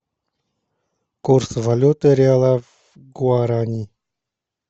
курс валюты реала к гуарани